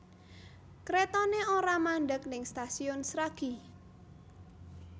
Kretone ora mandheg ning Stasiun Sragi